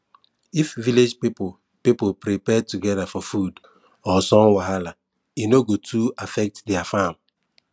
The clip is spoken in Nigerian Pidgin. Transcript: if village people people prepare together for flood or sun wahala e no go too affect their farm